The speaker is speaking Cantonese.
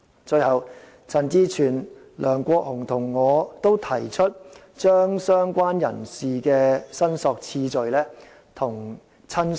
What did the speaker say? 最後，陳志全議員、梁國雄議員與我均提出把"相關人士"的申索次序與"親屬"看齊。